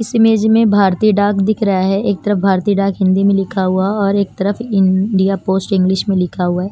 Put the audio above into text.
इस इमेज में भारतीय डाक दिख रहा है एक तरफ भारतीय डाक हिंदी में लिखा हुआ और एक तरफ इंडिया पोस्ट इंग्लिश में लिखा हुआ है